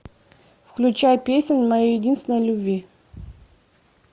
включай песнь моей единственной любви